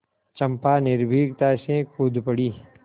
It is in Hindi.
चंपा निर्भीकता से कूद पड़ी